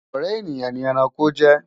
ọrẹ ènìyàn ní ẹranko jẹ